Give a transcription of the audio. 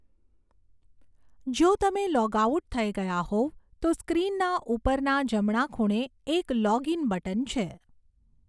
જો તમે log out થઈ ગયા હોવ તો સ્ક્રીનના ઉપરના જમણા ખૂણે એક લૉગિન બટન છે.